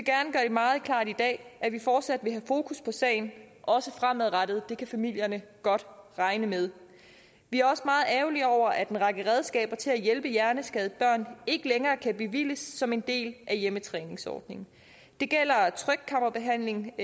meget klart i dag at vi fortsat vil have fokus på sagen også fremadrettet det kan familierne godt regne med vi er også meget ærgerlige over at en række redskaber til at hjælpe hjerneskadede børn ikke længere kan bevilges som en del af hjemmetræningsordningen det gælder trykkammerbehandling